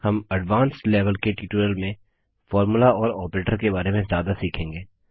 हम advanced level के tutorial में फॉर्मुला और ऑपरेटर के बारे में ज्यादा सीखेंगे